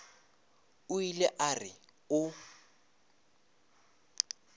o ile a re o